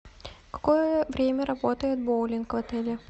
какое время работает боулинг в отеле